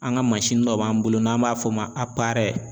An ka dɔ b'an bolo n'an b'a fɔ o ma